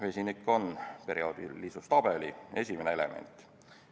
Vesinik on perioodilisustabeli esimene element.